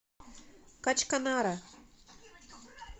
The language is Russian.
качканара